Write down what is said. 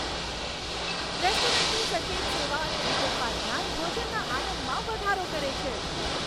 રેસ્ટોરન્ટની સચેત સેવા અને વિગતવાર ધ્યાન ભોજનના આનંદમાં વધારો કરે છે.